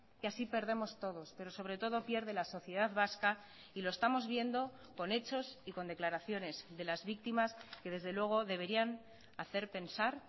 que así perdemos todos pero sobre todo pierde la sociedad vasca y lo estamos viendo con hechos y con declaraciones de las víctimas que desde luego deberían hacer pensar